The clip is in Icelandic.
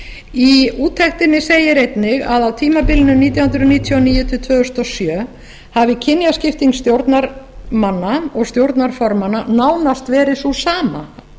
í úttektinni segir einnig að á tímabilinu nítján hundruð níutíu og níu til tvö þúsund og sjö hafi kynjaskipting stjórnarmanna og stjórnarformanna nánast verið sú sama